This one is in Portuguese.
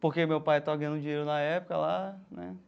Porque meu pai estava ganhando dinheiro na época lá né.